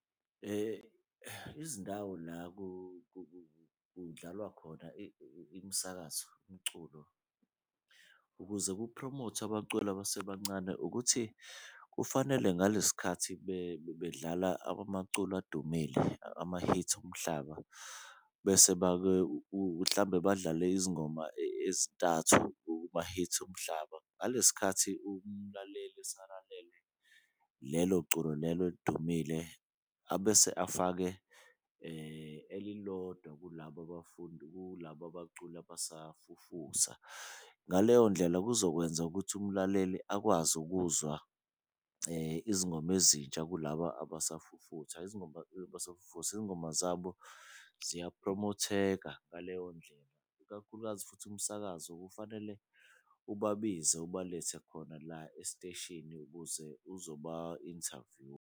Izindawo la kudlalwa khona imisakazo umculo ukuze kuphromothwe abaculi abasebancane ukuthi kufanele ngale sikhathi bedlala amaculo adumile, amahithi omhlaba bese bake hlambe badlale izingoma ezintathu kumahithi omhlaba. Ngale sikhathi umlaleli esalalele lelo culo lelo elidumile abese afake elilodwa kulabo bafundi kulaba abaculi abasafufusa, ngaleyo ndlela, kuzokwenza ukuthi umlaleli akwazi ukuzwa izingoma ezintsha kulaba abasafufusa. Izingoma zabo ziyaphromotheka ngaleyo ndlela, ikakhulukazi futhi umsakazo kufanele ubabiza ubelethe khona la esiteshini ukuze uzoba-inthavyuwa.